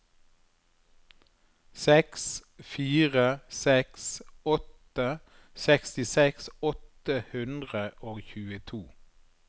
seks fire seks åtte sekstiseks åtte hundre og tjueto